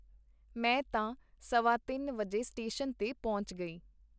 ਮੈਂ ਤਾਂ ਸਵਾ ਤਿੰਨ ਵਜੇ ਸਟੇਸ਼ਨ ਤੇ ਪਹੁੰਚ ਗਈ.